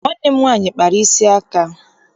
Nwanne m nwaanyị kpara isi aka.